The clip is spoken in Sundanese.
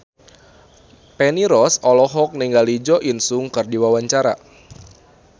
Feni Rose olohok ningali Jo In Sung keur diwawancara